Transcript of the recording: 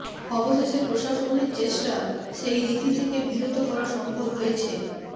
অবশেষে প্রশাসনের চেষ্টা সেই রীতি থেকে বিরত করা সম্ভব হয়েছে